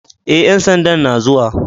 E, ƴan sandan na zuwa.